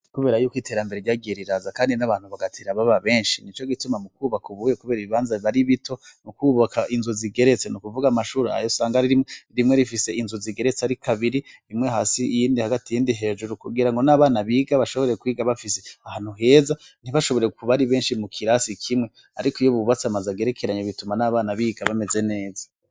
Kubera y'uko iterambere ryageriraza kandi n'abantu bagatera baba benshi ni co gituma mu kubaka ubuwe kubera ibibanza bari bito nu kubaka inzu zigeretse nu kuvuga amashuri ayo sanga ari rime rimwe rifise inzu zigeretse ari kabiri rimwe hasi iyindi hagati yindi hejuru kugira ngo n'abana biga bashobore kwiga bafise ahantu heza ntibashobore kuba ari benshi mu kirasi kimwe ariko iyo bubatsi amazgerekeranye bituma n'abana biga bameze neza.